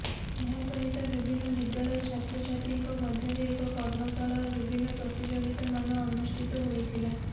ଏହାସହିତ ବିଭିନ୍ନ ବିଦ୍ୟାଳୟ ଛାତ୍ରଛାତ୍ରୀଙ୍କ ମଧ୍ୟରେ ଏକ କର୍ମଶାଳା ଓ ବିଭିନ୍ନ ପ୍ରତିଯୋଗିତାମାନ ଅନୁଷ୍ଠିତ ହୋଇଥିଲା